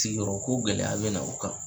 yɔrɔ ko gɛlɛya bɛ na u kan.